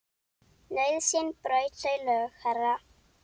Nauðsyn braut þau lög, herra.